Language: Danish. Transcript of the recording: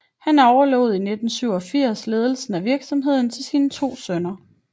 Han overlod i 1987 ledelsen af virksomheden til sine to sønner